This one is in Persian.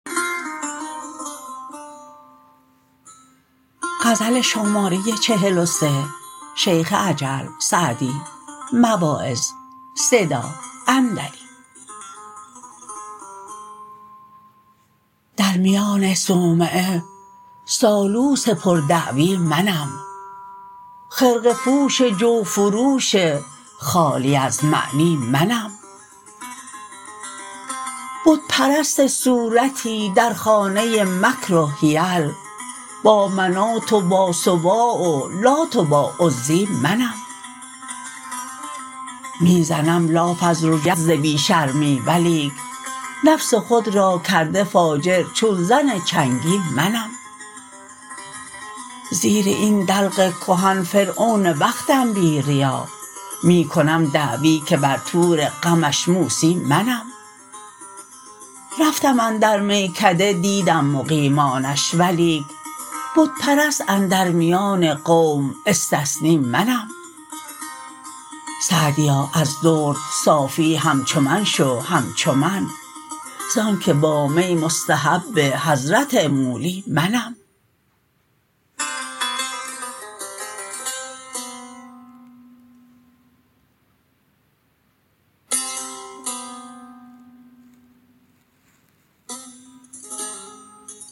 در میان صومعه سالوس پر دعوی منم خرقه پوش جوفروش خالی از معنی منم بت پرست صورتی در خانه مکر و حیل با منات و با سواع و لات و با عزی منم می زنم لاف از رجولیت ز بی شرمی ولیک نفس خود را کرده فاجر چون زن چنگی منم زیر این دلق کهن فرعون وقتم بی ریا می کنم دعوی که بر طور غمش موسی منم رفتم اندر میکده دیدم مقیمانش ولیک بت پرست اندر میان قوم استثنی منم سعدیا از درد صافی همچو من شو همچو من زآن که با می مستحب حضرت مولی منم